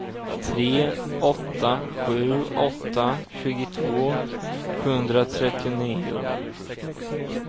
tre åtta sju åtta tjugotvå sjuhundratrettionio